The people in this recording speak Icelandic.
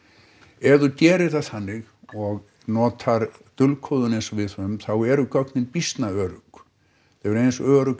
ef þú gerir það þannig og notar dulkóðun eins og við höfum þá eru gögnin býsna örugg þau eru eins örugg